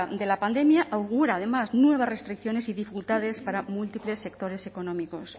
de la pandemia augura además nuevas restricciones y dificultades para múltiples sectores económicos